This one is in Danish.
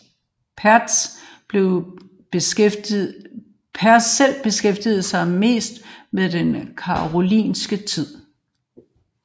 Pertz selv beskæftigede sig mest med den karolingiske tid